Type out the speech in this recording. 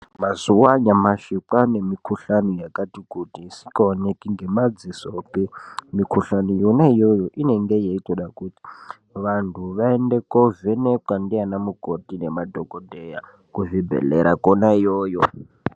Mazuwa anyamashi kwanemukuhlani yakati kutu isingaoneki ngemadziso pi. Mikuhlani yona iyoyo inenge yeitoda kuti vantu vaende kovhenekwa ndiana mukoti nema dhokodheya kuzvibhedhlera kona iyoyo.